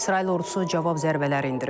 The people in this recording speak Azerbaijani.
İsrail ordusu cavab zərbələri endirib.